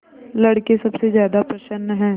लड़के सबसे ज्यादा प्रसन्न हैं